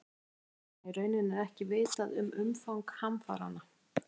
Brynhildur: Þannig að í rauninni er ekki vitað um umfang hamfaranna?